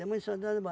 Tem muito soldado